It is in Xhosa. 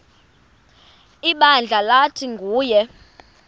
ibandla lathi nguyena